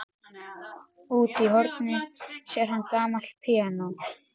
Úti í horni sér hann gamalt píanó.